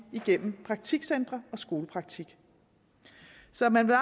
gennem praktikcentre og skolepraktik så man vil